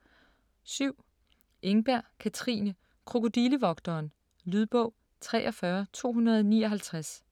7. Engberg, Katrine: Krokodillevogteren Lydbog 43259